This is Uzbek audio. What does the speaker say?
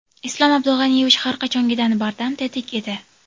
Islom Abdug‘aniyevich har qachongidan bardam, tetik edi.